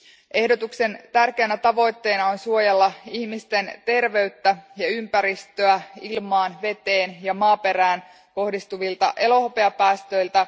Ehdotuksen tärkeänä tavoitteena on suojella ihmisten terveyttä ja ympäristöä ilmaan, veteen ja maaperään kohdistuvilta elohopeapäästöiltä.